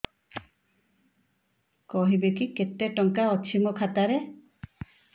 କହିବେକି କେତେ ଟଙ୍କା ଅଛି ମୋ ଖାତା ରେ